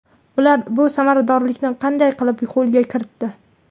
Ular bu samaradorlikni qanday qilib qo‘lga kiritdi?